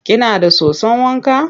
Kina da soson wa ka?